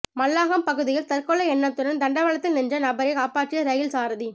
மல்லாகம் பகுதியில் தற்கொலை எண்ணத்துடன் தண்டவாளத்தில் நின்ற நபரைக் காப்பாற்றிய ரயில் சாரதி